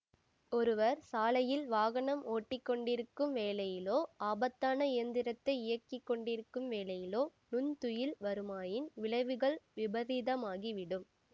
ஒருவர் சாலையில் வாகனம் ஓட்டி கொண்டிருக்கும் வேளையிலோ ஆபத்தான இயந்திரத்தை இயக்கி கொண்டிருக்கும் வேளையிலோ நுண்துயில் வருமாயின் விளைவுகள் விபரீதமாகி விடும்